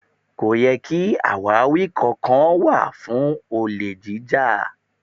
Kò yẹ ki àwáwí kankan kó wà fún olè jíjà.